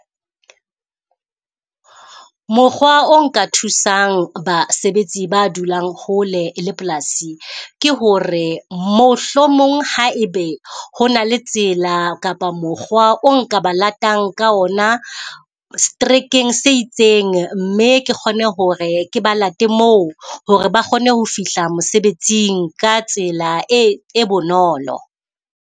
Mokgwa o nka thusang basebetsi ba dulang hole le polasi ke hore, mohlomong ha e be ho na le tsela kapa mokgwa o nka ba latang ka ona seterekeng se itseng. Mme ke kgone hore ke ba late moo hore ba kgone ho fihla mosebetsing ka tsela e e bonolo.